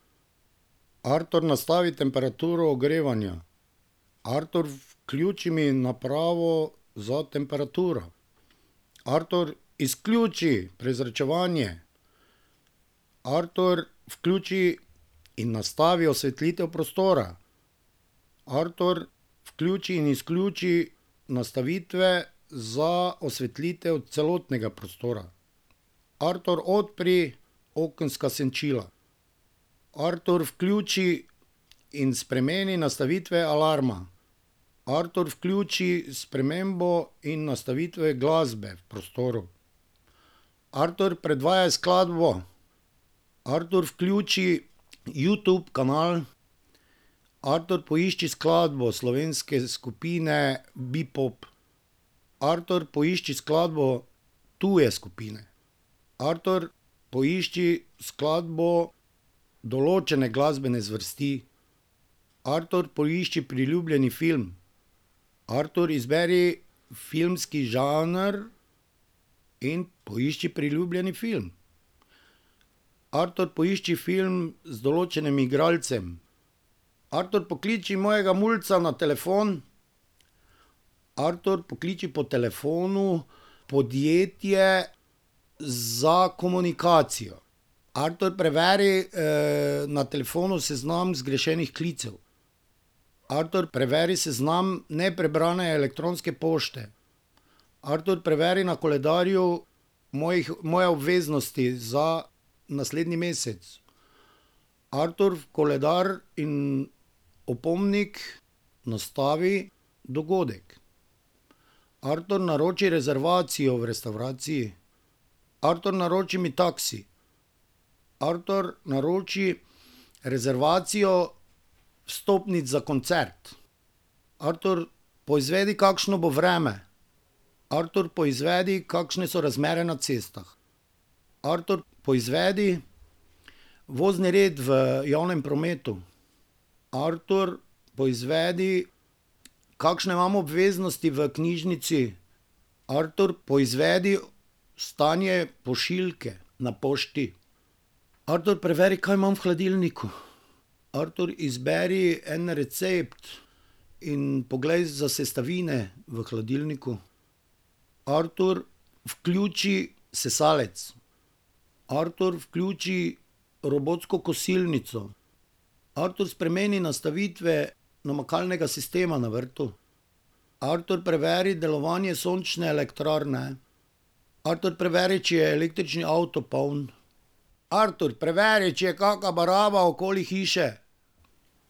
Artur, nastavi temperaturo ogrevanja. Artur, vključi mi napravo za temperaturo. Artur, izključi prezračevanje. Artur, vključi in nastavi osvetlitev prostora. Artur, vključi in izključi nastavitve za osvetlitev celotnega prostora. Artur, odpri okenska senčila. Artur, vključi in spremeni nastavitve alarma. Artur, vključi spremembo in nastavitve glasbe v prostoru. Artur, predvajaj skladbo. Artur, vključi Youtube kanal. Artur, poišči skladbo slovenske skupine Bepop. Artur, poišči skladbo tuje skupine. Artur, poišči skladbo določene glasbene zvrsti. Artur, poišči priljubljeni film. Artur, izberi filmski žanr in poišči priljubljeni film. Artur, poišči film z določenim igralcem. Artur, pokliči mojega mulca na telefon. Artur, pokliči po telefonu podjetje za komunikacijo. Artur, preveri, na telefonu seznam zgrešenih klicev. Artur, preveri seznam neprebrane elektronske pošte. Artur preveri na koledarju mojih, moje obveznosti za naslednji mesec. Artur, v koledar in opomnik nastavi dogodek. Artur, naroči rezervacijo v restavraciji. Artur, naroči mi taksi. Artur, naroči rezervacijo vstopnic za koncert. Artur, poizvedi, kakšno bo vreme. Artur, poizvedi, kakšne so razmere na cestah. Artur, poizvedi vozni red v javnem prometu. Artur, poizvedi, kakšne imam obveznosti v knjižnici. Artur, poizvedi stanje pošiljke na pošti. Artur, preveri, kaj imam v hladilniku. Artur, izberi en recept in poglej za sestavine v hladilniku. Artur, vključi sesalec. Artur, vključi robotsko kosilnico. Artur, spremeni nastavitve namakalnega sistema na vrtu. Artur, prevedi delovanje sončne elektrarne. Artur, preveri, če je električni avto poln. Artur, preveri, če je kaka baraba okoli hiše.